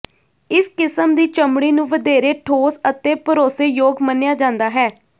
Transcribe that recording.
ਇਸ ਕਿਸਮ ਦੀ ਚਮੜੀ ਨੂੰ ਵਧੇਰੇ ਠੋਸ ਅਤੇ ਭਰੋਸੇਯੋਗ ਮੰਨਿਆ ਜਾਂਦਾ ਹੈ